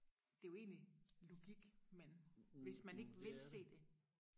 det er jo egentlig logik men hvis man ikke vil se det